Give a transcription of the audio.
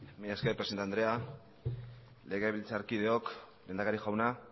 mila esker presidente andrea legebiltzarkideok lehendakari jauna